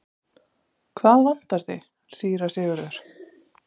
Hvað vantar þig, síra Sigurður?